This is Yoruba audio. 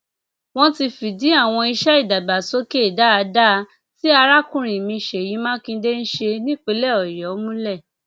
wọn ti fìdí àwọn iṣẹ ìdàgbàsókè dáadáa tí arákùnrin mi ṣèyí makinde ń ṣe nípìnlẹ ọyọ múlẹ